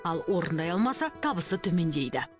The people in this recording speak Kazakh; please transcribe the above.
ал орындай алмаса табысы төмендейді